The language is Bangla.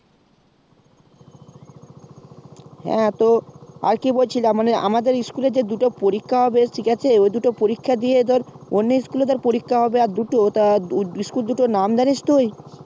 হ্যা তো আর কি বলছিলাম মানে আমাদের school এ যেই দুটো পরীক্ষা হবে ঠিকআছে ওই দুটো পরীক্ষা দিয়ে ধরে অন্য school এ ধরে পরীক্ষা হবে আর দুটো তা school দুটোর নাম জানিস তুই